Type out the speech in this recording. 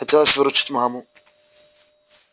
хотелось выручить маму